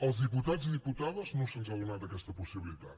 als diputats i diputades no se’ns ha donat aquesta possibilitat